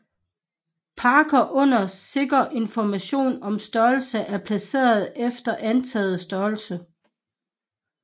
Parker uden sikker information om størrelse er placeret efter antaget størrelse